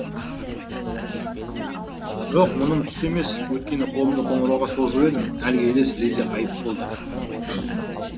жоқ мұным түс емес өйткені қолымды қоңырауға созып едім әлгі елес лезде ғайып болды